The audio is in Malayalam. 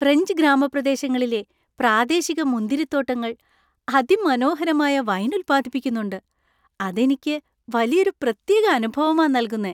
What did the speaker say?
ഫ്രഞ്ച് ഗ്രാമപ്രദേശങ്ങളിലെ പ്രാദേശിക മുന്തിരിത്തോട്ടങ്ങൾ അതിമനോഹരമായ വൈൻ ഉത്പാദിപ്പിക്കുന്നുണ്ട്, അത് എനിക്ക് വലിയൊരു പ്രത്യേക അനുഭവമാ നൽകുന്നേ.